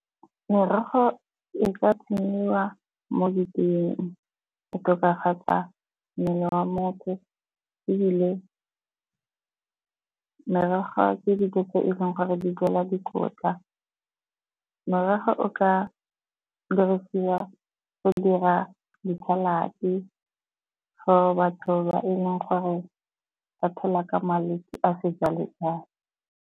Merogo e ka tsenyiwa mo diteeng go tokafatsa mmele wa motho. Ebile merogo ke dijo tse e leng gore di jelwa dikotla. Merogo o ka dirisiwa go dira di-salad-e for batho ba eleng gore ba phela ka malwetse a .